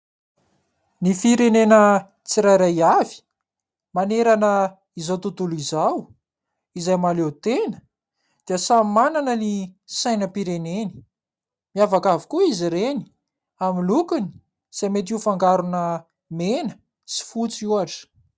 Ny firenena tsirairay avy manerana izao tontolo izao izay mahaleo tena dia samy manana sainam-pireneny. Miavaka avokoa izy ireny amin'ny lokony, izay mety ho fangarona mena sy fotsy ohatra.